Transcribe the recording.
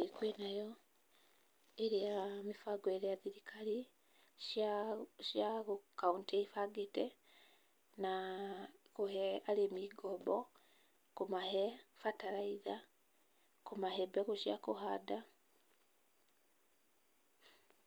ĩĩ kwĩ nayo, ĩrĩa mĩbango ĩrĩa thirikari cia kauntĩ ibangĩte na kũhe arĩmi ngombo, kũmahe bararaitha, kũmahe mbegũ cia kũhanda.